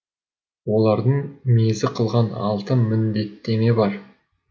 оларды мезі қылған алты міндеттеме бар